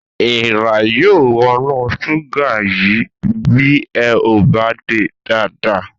Èèrà yóò wọnú ṣúgà yìí bí ẹ ò bá de dáadáa